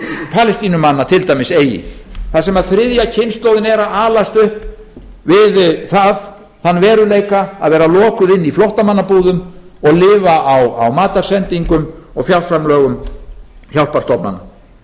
palestínumanna til dæmis eigi þar sem þriðja kynslóðin er að alast upp við þann veruleika að vera lokuð inni í flóttamannabúðum og lifa á matarsendingum og fjárframlögum hjálparstofnana